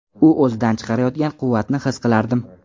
U o‘zidan chiqarayotgan quvvatni his qilardim.